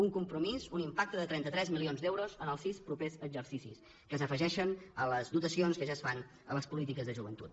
un compromís un impacte de trenta tres milions d’euros en els sis propers exercicis que s’afegeixen a les dotacions que ja es fan a les polítiques de joventut